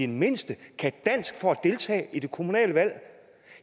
mindste kan dansk for at deltage i de kommunale valg